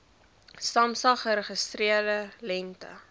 samsa geregistreerde lengte